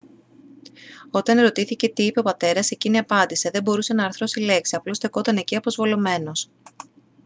όταν ερωτήθηκε τι είπε ο πατέρας εκείνη απάντησε «δεν μπορούσε να αρθρώσει λέξη - απλώς στεκόταν εκεί αποσβολωμένος»